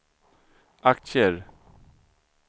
aktier